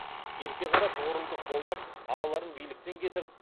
ерке қара тұғырылды қолдап ағаларын биліктен кетіріп